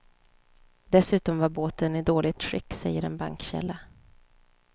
Dessutom var båten i dåligt skick, säger en bankkälla.